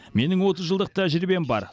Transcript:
менің отыз жылдық тәжірибем бар